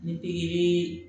Ni pikiri